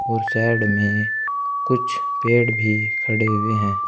और साइड में कुछ पेड़ भी खड़े हुए हैं।